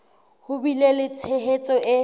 ho bile le tshehetso e